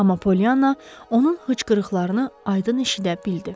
Amma Pollyana onun xıçqırıqlarını aydın eşidə bildi.